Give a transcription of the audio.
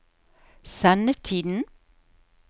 sendetiden